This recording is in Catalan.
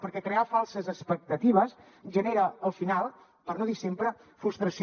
perquè crear falses expectatives genera al final per no dir sempre frustració